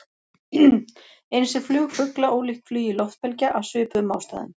Eins er flug fugla ólíkt flugi loftbelgja, af svipuðum ástæðum.